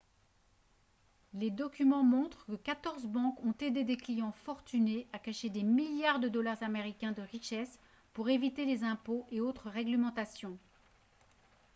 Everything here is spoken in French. les documents montrent que 14 banques ont aidé des clients fortunés à cacher des milliards de dollars américains de richesse pour éviter les impôts et autres réglementations